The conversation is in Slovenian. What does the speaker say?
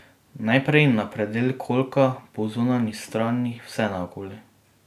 Najprej na predel kolka po zunanji strani, vse naokoli.